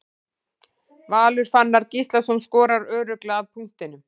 Valur Fannar Gíslason skorar örugglega af punktinum.